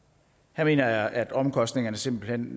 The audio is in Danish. her mener jeg at omkostningerne simpelt hen